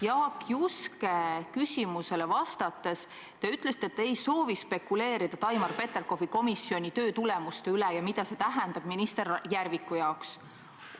Jaak Juske küsimusele vastates te ütlesite, et te ei soovi spekuleerida Taimar Peterkopi komisjoni töötulemuste üle ja selle üle, mida see tähendab minister Järviku jaoks.